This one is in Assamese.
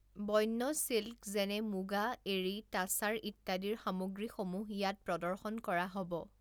বন্যছিল্ক যেনে মুগা, এড়ী, তাছাৰ ইত্যাদিৰ সামগ্ৰীসমূহ ইয়াত প্ৰদৰ্শন কৰা হ’ব ।